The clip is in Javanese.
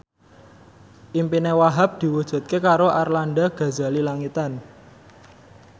impine Wahhab diwujudke karo Arlanda Ghazali Langitan